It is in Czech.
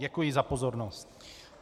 Děkuji za pozornost.